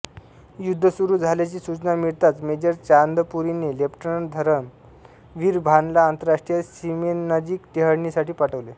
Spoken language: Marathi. युद्ध सुरू झाल्याची सुचना मिळताच मेजर चांदपुरीने लेफ्टनंट धरम वीर भानला आंतरराष्ट्रीय सीमेनजीक टेहळणीसाठी पाठवले